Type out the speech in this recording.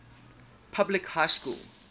public high school